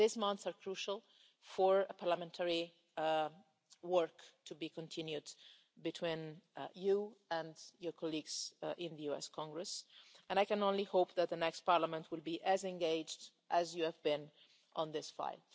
These months are crucial for parliamentary work to be continued between you and your colleagues in the US Congress, and I can only hope that the next Parliament will be as engaged as you have been in this fight.